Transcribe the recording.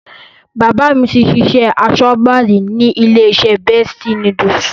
Bàbá mi ti ṣiṣẹ́ aṣọ́gbà rí ní ilé-iṣẹ́ Bestie Noodles.